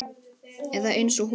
Eða eins og hún var.